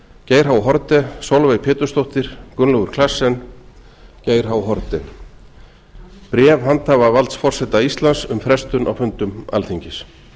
geir h haarde sólveig pétursdóttir gunnlaugur claessen geir haarde bréf handhafavalds forseta íslands um frestun á fundum alþingis